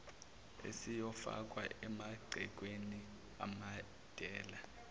esiyofakwa emagcekeni amadela